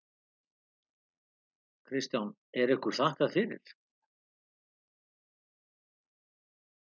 Kristján: Er ykkur þakkað fyrir?